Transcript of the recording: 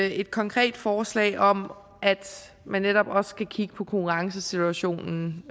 et konkret forslag om at man netop også skal kigge på konkurrencesituationen